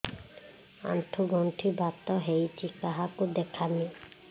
ଆଣ୍ଠୁ ଗଣ୍ଠି ବାତ ହେଇଚି କାହାକୁ ଦେଖାମି